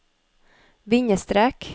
bindestrek